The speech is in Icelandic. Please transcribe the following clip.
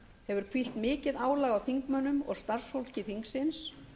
hefur hvílt mikið álag á þingmönnum og starfsfólki þingsins